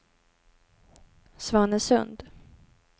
Svanesund